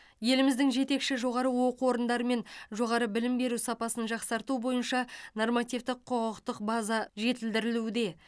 еліміздің жетекші жоғары оқу орындарымен жоғары білім беру сапасын жақсарту бойынша нормативтік құқықтық база жетілдірілуде